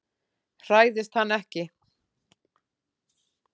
Hræðist hann ekki.